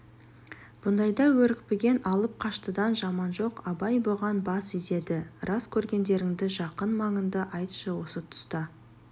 бұндайда өрекпіген алып-қаштыдан жаман жоқ абай бұған бас изеді рас көргендеріңді жақын маңыңды айтшы осы тұста